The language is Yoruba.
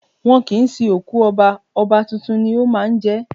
Wọ́n kì ń sin òkú Ọba, Ọba tuntun ni ó máa ń jẹ́.